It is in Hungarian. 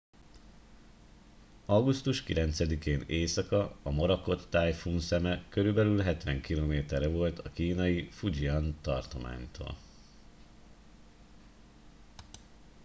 augusztus 9 én éjszaka a morakot tájfun szeme körülbelül hetven kilométerre volt a kínai fujian tartománytól